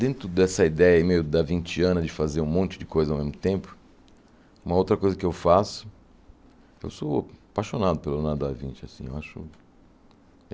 Dentro dessa ideia meio Davinciana de fazer um monte de coisa ao mesmo tempo, uma outra coisa que eu faço, eu sou apaixonado pelo Leonardo da Vinci assim eu acho.